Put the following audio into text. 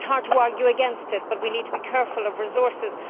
It is hard to argue against it, but we need to be careful of resources.